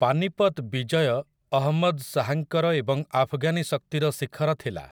ପାନିପତ୍ ବିଜୟ ଅହମ୍ମଦ୍ ଶାହାଙ୍କର ଏବଂ ଆଫଗାନି ଶକ୍ତିର ଶିଖର ଥିଲା ।